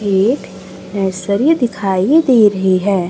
एक ऐश्वर्य दिखाई दे रही है।